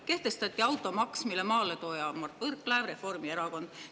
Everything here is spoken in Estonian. Kehtestati automaks, mille maaletooja on Mart Võrklaev, Reformierakond.